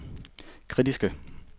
kritiske